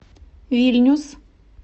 вильнюс